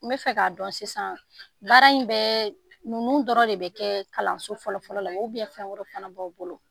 N b'a fɛ k'a dɔn sisan, baara in bɛ, ninnu dɔrɔnw de bɛ kɛ kalanso fɔlɔ fɔlɔ la, fɛn wɛrɛ fana b'aw bolo.